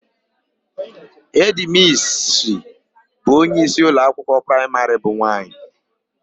Hedịmissi bụ onyeisi ụlọakwụkwọ praịmarị bụ nwaanyị.